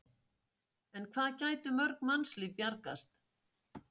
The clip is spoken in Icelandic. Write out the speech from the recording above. En hvað gætu mörg mannslíf bjargast?